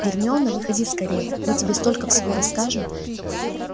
гермиона выходи скорее мы тебе столько всего расскажем